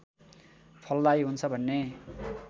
फलदायी हुन्छ भन्ने